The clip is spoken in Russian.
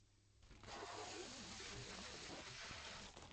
покажи терминаторы